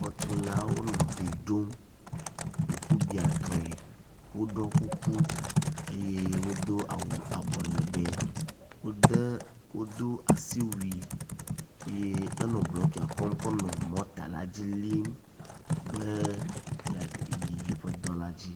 Xɔtulawo nɔ gli ɖom ŋkubiatɔe, woɖɔ kuku eye wodo awu abɔ legbe. Wode wodo asiwui eye enɔ blɔkia kɔm kɔ nɔ mɔta dzi lim be yeayi yeƒe dɔ la dzi.